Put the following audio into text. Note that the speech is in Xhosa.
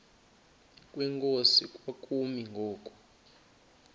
kwenkosi kwakumi ngoku